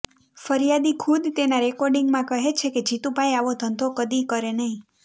ફરિયાદી ખુદ તેના રેર્કોિંડગમાં કહે છે કે જીતુભાઈ આવો ધંધો કદી કરે નહીં